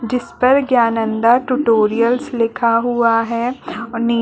जिस पर ज्ञानंदा टोटोरियल्स लिखा हुआ है अ नी --